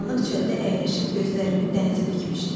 Qaranlıq çöldə əyləşib gözlərimi dənizə dikmişdim.